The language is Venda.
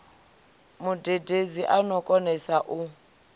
mudededzi a no konesa u